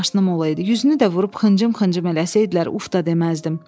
100 maşınım olaydı, 100-ünü də vurub xıncım-xıncım eləsəydilər, uf da deməzdim.